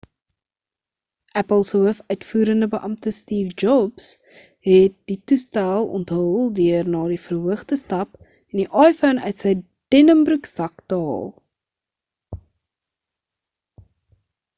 apple se hoof uitvoerende beampte steve jobs het die toestel onthul deur na die verhoog te stap en die iphone uit sy denimbroeksak te haal